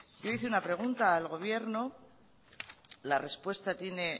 yo hice una pregunta al gobierno la respuesta tiene